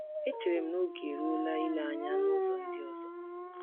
Echere m na oge eruola ile anya n’uzo ndị ọzọ.”